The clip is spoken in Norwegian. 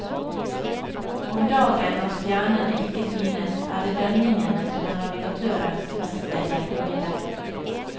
Om dagen, når stjernene ikke synes, er det dønningene som er navigatørens beste hjelpemiddel.